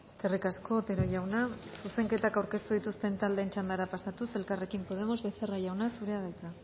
eskerrik asko otero jauna zuzenketak aurkeztu dituzten taldeen txandara pasatuz elkarrekin podemos becerra jauna zurea da hitza